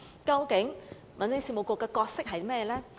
究竟民政事務局的角色是甚麼呢？